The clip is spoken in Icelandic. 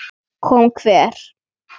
Kom hver?